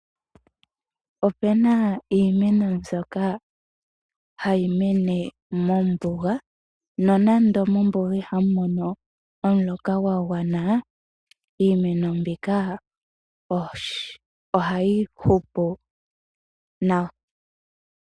Ope na iimeno mbyoka hayi mene mombuga, nonando mombuga ihamu mono omuloka gwa gwana, Iimeno mbika ohayi hupu nawa.